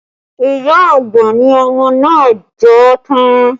Iya àgbà ni ọmọ náà jọ tán